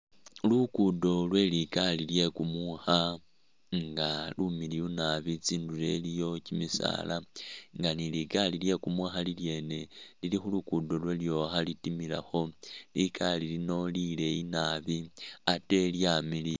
Lukudo lwe likari lye kumukha nga lumiliyu nabi tsindulo iliyo kyimisala nga ni likali lye kumukha lilyene lili khulukudo lwalyo khalitimilakho likali lino lileyi nabi ate lyamiliya